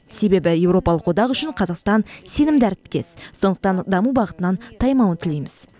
себебі еуропалық одақ үшін қазақстан сенімді әріптес сондықтан даму бағытынан таймауын тілейміз